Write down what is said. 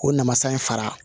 O namasa in fara